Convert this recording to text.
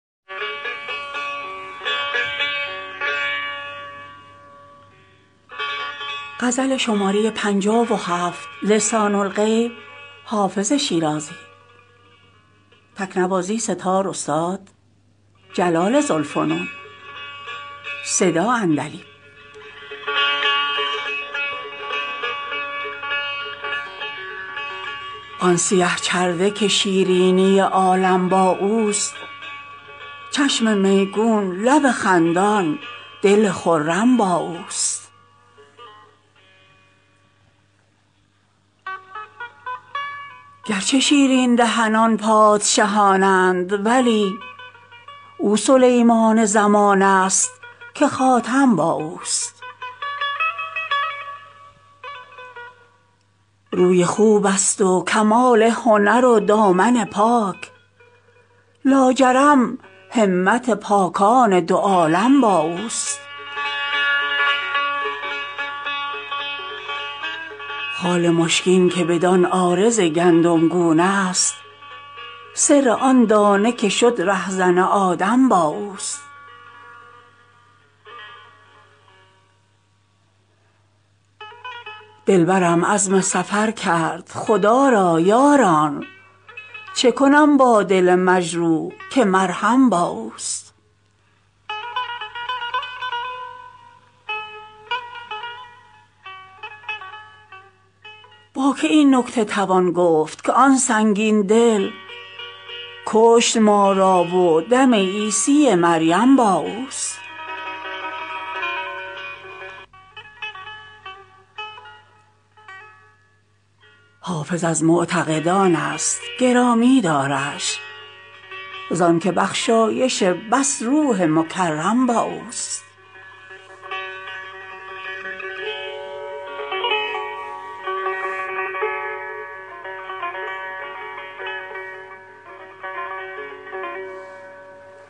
آن سیه چرده که شیرینی عالم با اوست چشم میگون لب خندان دل خرم با اوست گرچه شیرین دهنان پادشهان اند ولی او سلیمان زمان است که خاتم با اوست روی خوب است و کمال هنر و دامن پاک لاجرم همت پاکان دو عالم با اوست خال مشکین که بدان عارض گندمگون است سر آن دانه که شد رهزن آدم با اوست دلبرم عزم سفر کرد خدا را یاران چه کنم با دل مجروح که مرهم با اوست با که این نکته توان گفت که آن سنگین دل کشت ما را و دم عیسی مریم با اوست حافظ از معتقدان است گرامی دارش زان که بخشایش بس روح مکرم با اوست